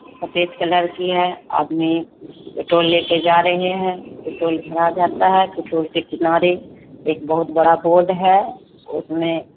सफेद कलर की है आदमी पेट्रोल ले के जा रहे है पेट्रोल भरा जाता है पेट्रोल के किनारे एक बहुत बड़ा बोर्ड है उसमे --